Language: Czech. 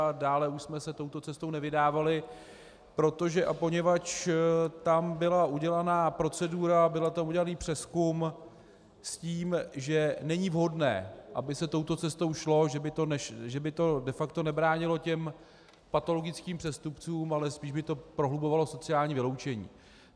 A dále už jsme se touto cestou nevydávali, protože a poněvadž tam byla udělaná procedura, byl tam udělaný přezkum s tím, že není vhodné, aby se touto cestou šlo, že by to de facto nebránilo těm patologickým přestupcům, ale spíš by to prohlubovalo sociální vyloučení.